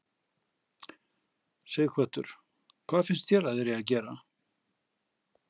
Sighvatur: Hvað finnst þér að þeir eig að gera?